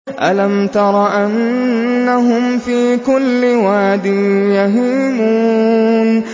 أَلَمْ تَرَ أَنَّهُمْ فِي كُلِّ وَادٍ يَهِيمُونَ